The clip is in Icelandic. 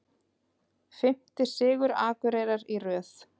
Fimmti sigur Akureyrar í röð